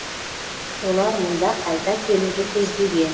олар мұнда қайта келуді көздеген